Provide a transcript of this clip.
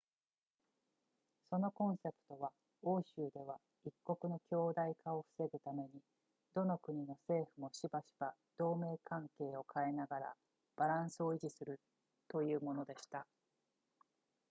そのコンセプトは欧州では一国の強大化を防ぐためにどの国の政府もしばしば同盟関係を変えながらバランスを維持するというものでした